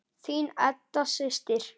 Þín Edda systir.